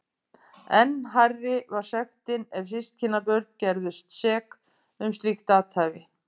Enn hærri var sektin ef systkinabörn gerðust sek um slíkt athæfi.